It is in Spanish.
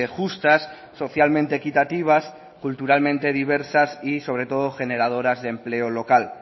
justas socialmente equitativas culturalmente diversas y sobre todo generadoras de empleo local